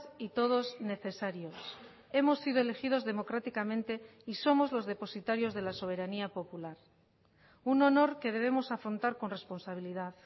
y todos necesarios hemos sido elegidos democráticamente y somos los depositarios de la soberanía popular un honor que debemos afrontar con responsabilidad